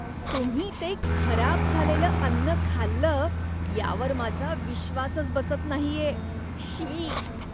तुम्ही ते खराब झालेलं अन्न खाल्लं यावर माझा विश्वासच बसत नाहीये. श्शी!